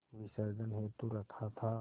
विसर्जन हेतु रखा था